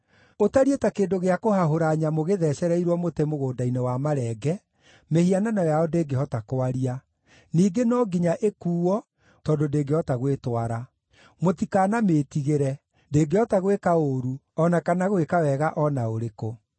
Ũtariĩ ta kĩndũ gĩa kũhahũra nyamũ gĩthecereirwo mũtĩ mũgũnda-inĩ wa marenge, mĩhianano yao ndĩngĩhota kwaria; ningĩ no nginya ĩkuuo, tondũ ndĩngĩhota gwĩtwara. Mũtikanamĩĩtigĩre; ndĩngĩhota gwĩka ũũru o na kana gwĩka wega o na ũrĩkũ.”